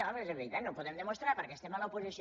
home és de veritat no ho podem demostrar perquè estem a l’oposició